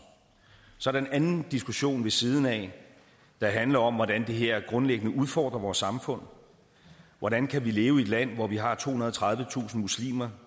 så er der en anden diskussion ved siden af der handler om hvordan det her grundlæggende udfordrer vores samfund hvordan kan vi leve i et land hvor vi har tohundrede og tredivetusind muslimer